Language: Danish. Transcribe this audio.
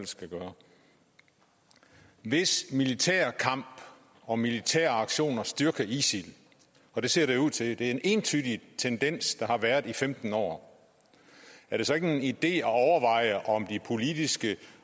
skal gøre hvis militær kamp og militære aktioner styrker isil og det ser det ud til det er en entydig tendens der har været i femten år er det så ikke en idé at overveje politiske